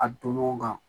A don ɲɔgɔn kan